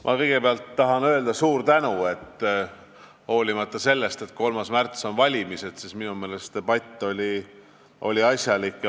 Ma kõigepealt tahan öelda suur tänu, et hoolimata sellest, et 3. märtsil on valimised, oli tänane debatt asjalik.